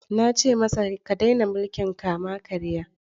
Na ce masa, ka daina mulkin kama-karya!